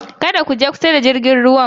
Kada ku je kusa da tashar jirgin ruwan!